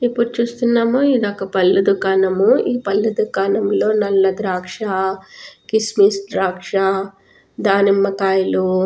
ఇప్పుడు చూస్తున్నాము ఇది ఒక్క పళ్లు దుకాణము. ఈ పళ్లు దుకాణంలో నల్ల ద్రాక్ష కిస్మిస్ ద్రాక్ష దానిమ్మకాయలు--